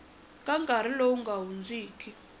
ka nkarhi lowu nga hundziki